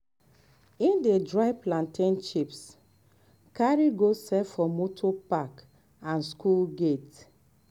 e dey dry plantain chips carry go sell for motor park and school gate